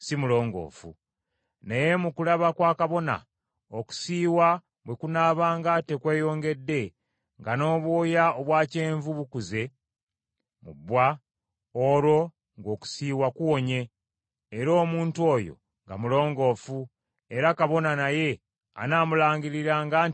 Naye mu kulaba kwa kabona, okusiiwa bwe kunaabanga tekweyongedde, nga n’obwoya obwa kyenvu bukuze mu bbwa, olwo ng’okusiiwa kuwonye, era omuntu oyo nga mulongoofu era kabona naye anaamulangiriranga nti mulongoofu.